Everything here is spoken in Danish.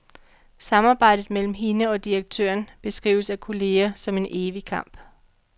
Samarbejdet mellem hende og direktøren beskrives af kolleger som en evig kamp.